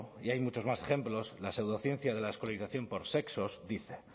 y hay muchos más ejemplos la pseudociencia de la escolarización por sexos dice